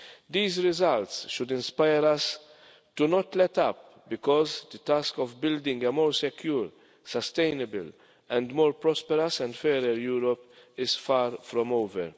These results should inspire us to not let up because the task of building a more secure, sustainable and more prosperous and fairer Europe is far from over.